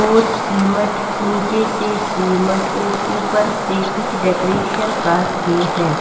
और सीमेंट नीचे से सीमेंट और ऊपर से कुछ डेकोरेशन कार के हैं.